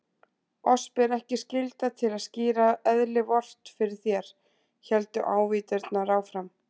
Oss ber ekki skylda til að skýra eðli Vort fyrir þér, héldu ávíturnar áfram.